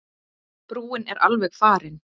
Brúin er alveg farin.